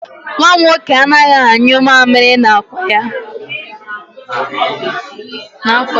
Nwa m nwoke anaghị anyụ mamịrị n'akwa ya.